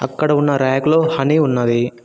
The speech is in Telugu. అక్కడ ఉన్న ర్యాక్లో హనీ ఉన్నది.